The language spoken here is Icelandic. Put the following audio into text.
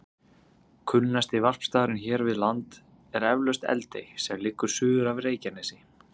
Kunnasti varpstaðurinn hér við land er eflaust Eldey sem liggur suður af Reykjanesi.